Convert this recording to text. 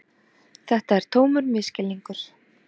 Þetta er tómur misskilningur.